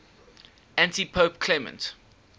antipope clement